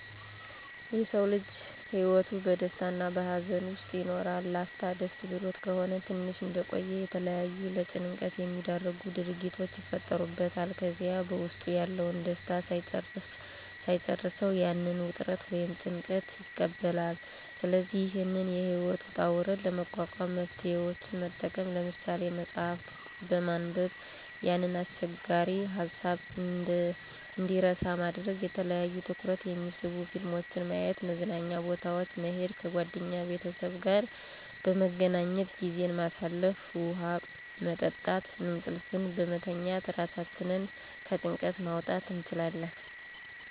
የሰዉ ልጅ ህይወቱ በደስታ እና በሀዘን ዉስጥ ይኖራል, ላፍታ ደስ ብሎት ከሆነ ትንሽ እንደቆዩ የተለያዩ ለጭንቀት የሚዳርጉ ድርጊቶች ይፈጠሩበታል ከዚያ በዉስጡ ያለዉን ደስታ ሳይጨርሰዉ ያንን ዉጥረት ወይም ጭንቀት ይቀበላል ስለዚህ ይህንን የህይወት ዉጣ ዉረድ ለመቋቋም መፍትሄወችን መጠቀም። ለምሳሌ፦ መፅሐፍት በማንበብ ያንን አስቸጋሪ ሀሳብ እንድንረሳ ማድረግ፣ የተለያዩ ትኩረት የሚስቡ ፊልሞችን ማየት፣ መዝናኛ ቦታወች መሄድ፣ ከጓደኛ ቤተሰብ ጋአ በመገናኘት ጊዜን ማሳለፍ፣ ዉሀ መጠጣት፣ እንቅልፍን በመተኛት ራሳችንን ከጭንቀት ማዉጣት እንችላለን።